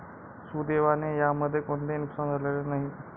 सुदैवाने यामध्ये कोणतेही नुकसान झालेले नाही.